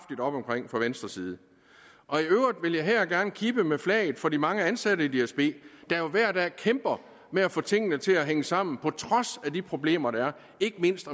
venstres side i øvrigt vil jeg her gerne kippe med flaget for de mange ansatte i dsb der jo hver dag kæmper med at få tingene til at hænge sammen på trods af de problemer der er ikke mindst